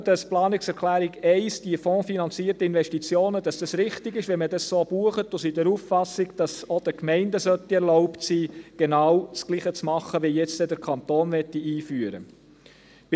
Wir glauben – betreffend die Planungserklärung 1 zu den fondsfinanzierten Investitionen –, dass es richtig ist, wenn man das so bucht, und sind der Auffassung, dass es auch den Gemeinden erlaubt sein soll, genau das Gleiche zu tun wie der Kanton jetzt einführen will.